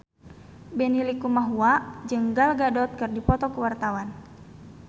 Benny Likumahua jeung Gal Gadot keur dipoto ku wartawan